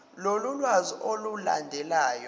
lolu lwazi olulandelayo